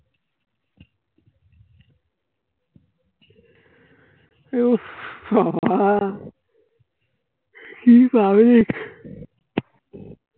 উফ বাবা কিভাবে?